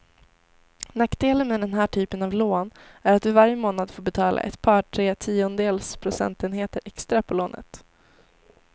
Nackdelen med den här typen av lån är att du varje månad får betala ett par, tre tiondels procentenheter extra på lånet.